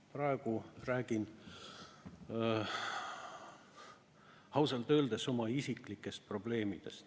Praegu räägin ausalt öeldes oma isiklikest probleemidest.